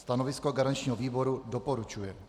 Stanovisko garančního výboru: doporučuje.